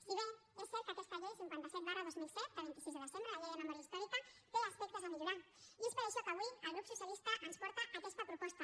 si bé és cert que aquesta llei cinquanta dos dos mil set de vint sis de desembre la llei de memòria històrica té aspectes a millorar i és per això que avui el grup socialista ens porta aquesta proposta